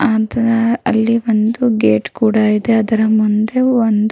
ಅದ್ ಅಲ್ಲಿ ಒಂದು ಗೇಟ್ ಕೂಡ ಇದೆ ಅದರ ಮುಂದೆ ಒಂದು --